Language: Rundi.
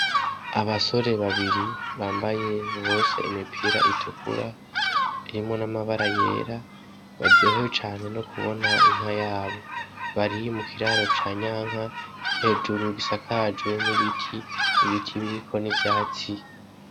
Abasore babiri bambaye bose imipira itukura irimwo namabara yera baryohewe cane nokubona inka yabo .Bari mukiraro ca nyanka hejuru gisakajwe n'ibiti, biti biriko n'ivyatsi.